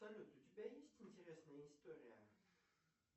салют у тебя есть интересная история